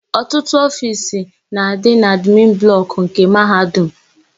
Ọtụtụ ofiisi na-adị na admin blọkụ nke Mahadum.